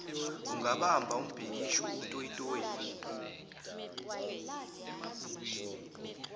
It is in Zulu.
ungabamba umbhikisho utoyize